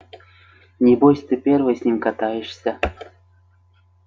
небось ты первый с ним катаешься